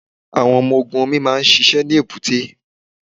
Àwọn ọmọ ogun omi máa ń ṣiṣẹ́ ní èbúté.